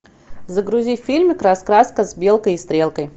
загрузи фильм раскраска с белкой и стрелкой